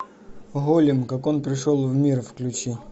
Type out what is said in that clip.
голем как он пришел в мир включи